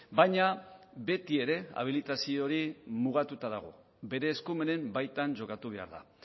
baina beti ere habilitazio hori mugatuta dago bere eskumenen baitan jokatu behar da